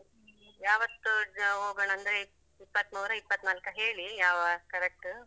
ಯಾವತ್ತು ಹೋಗೋಣಾಂದ್ರೆ ಇಪ್ಪತ್ತಮೂರು ಇಪತ್ತನಾಲ್ಕಾ ಹೇಳಿ ಯಾವ correct.